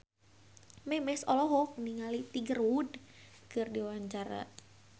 Memes olohok ningali Tiger Wood keur diwawancara